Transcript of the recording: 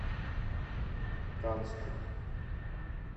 канску